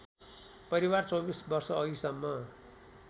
परिवार २४ वर्षअघिसम्म